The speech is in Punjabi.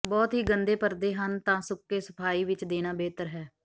ਬਹੁਤ ਹੀ ਗੰਦੇ ਪਰਦੇ ਹਨ ਤਾਂ ਸੁੱਕੇ ਸਫਾਈ ਵਿੱਚ ਦੇਣਾ ਬਿਹਤਰ ਹੈ